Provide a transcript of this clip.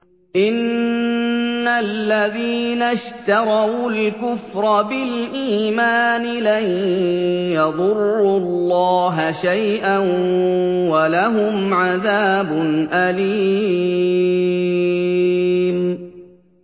إِنَّ الَّذِينَ اشْتَرَوُا الْكُفْرَ بِالْإِيمَانِ لَن يَضُرُّوا اللَّهَ شَيْئًا وَلَهُمْ عَذَابٌ أَلِيمٌ